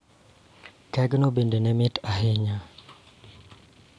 Kegno bende ne mit ahinya